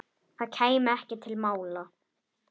Það kæmi ekki til mála.